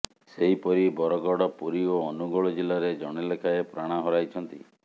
ସେହିପରି ବରଗଡ଼ ପୁରୀ ଓ ଅନୁଗୋଳ ଜିଲ୍ଲାରେ ଜଣେ ଲେଖାଏଁ ପ୍ରାଣ ହରାଇଛନ୍ତି